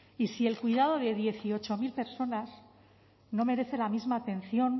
y si el cuidado de dieciocho mil personas no merece la misma atención